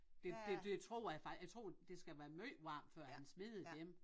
Det det det tror jeg faktisk jeg tror det skal være måj varmt før han smider dem